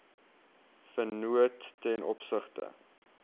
vennoot ten opsigte